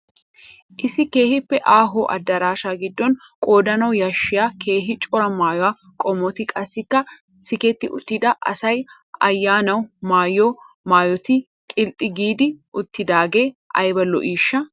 Issi keehiippe aaho adaraashaa gidon qoodanawu yashshiya keehi cora maayo qommoti qassikka siketti uttida asay ayanaw maayiyo maayotti qilxx giidi uttidaagaee ayba lo'iishsha